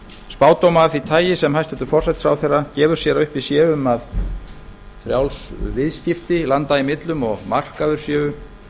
spádóma af því tagi sem hæstvirtur forsætisráðherra gefur sér að uppi séu um að frjáls viðskipti landa í millum og markaður séu